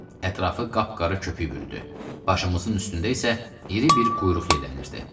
Ətrafı qapqarı köpüy bürüdü, başımızın üstündə isə iri bir quyruq yellənirdi.